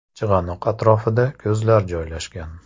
Chig‘anoq atrofida ko‘zlar joylashgan.